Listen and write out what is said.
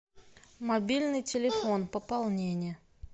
мобильный телефон пополнение